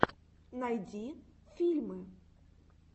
найди фильмы